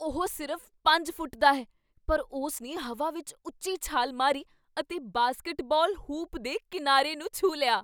ਉਹ ਸਿਰਫ਼ ਪੰਜ ਦਾ ਫੁੱਟ ਹੈ ਪਰ ਉਸਨੇ ਹਵਾ ਵਿੱਚ ਉੱਚੀ ਛਾਲ ਮਾਰੀ ਅਤੇ ਬਾਸਕਟਬਾਲ ਹੂਪ ਦੇ ਕੀਨਾਰੇ ਨੂੰ ਛੂਹ ਲਿਆ